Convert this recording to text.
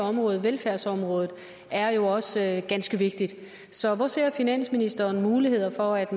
område velfærdsområdet det er jo også ganske vigtigt så hvor ser finansministeren muligheden for at